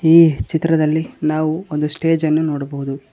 ಈ ಚಿತ್ರದಲ್ಲಿ ನಾವು ಒಂದು ಸ್ಟೇಜ್ ಅನ್ನು ನೋಡಬಹುದು.